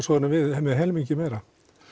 svo erum við með helmingi meira